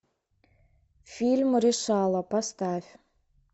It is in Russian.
фильм решала поставь